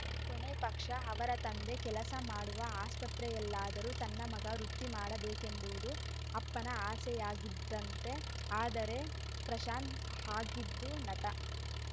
ಕೊನೆ ಪಕ್ಷ ಅವರ ತಂದೆ ಕೆಲಸ ಮಾಡುವ ಆಸ್ಪತ್ರೆಯಲ್ಲಾದರೂ ತನ್ನ ಮಗ ವೃತ್ತಿ ಮಾಡಬೇಕೆಂಬುವುದು ಅಪ್ಪನ ಆಸೆಯಾಗಿತಂತೆ ಆದರೆ ಪ್ರಶಾಂತ್‌ ಆಗಿದ್ದು ನಟ